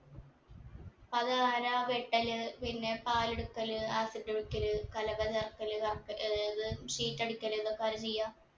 അതാരാ വെട്ടല് പിന്നെ പാലെടുക്കല് ആർത്തിട്ട് വെക്കൽ കല കല ആക്കല് കർക്കൽ ഏർ ഇത് sheet അടിക്കല് ഇതൊക്കെ ആരാ ചെയ്യാ